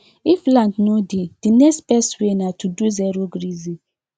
if land no dey the next best way na to do zerograzing